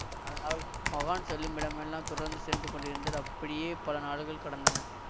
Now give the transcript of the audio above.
அதனால் மகான் செல்லுமிடமெல்லாம் தொடர்ந்து சென்று கொண்டிருந்தார் அப்படியே பல நாடுகள் கடந்தன